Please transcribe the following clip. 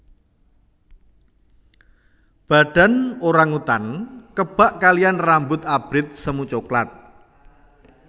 Badan orang utan kebak kaliyan rambut abrit semu coklat